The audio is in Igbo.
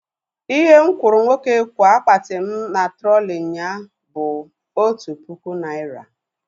Ihe mụ kwụrụ nwoke kwa akpati mụ na trọlị nyaa bụ otu puku naira